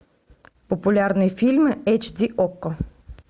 популярные фильмы эйч ди окко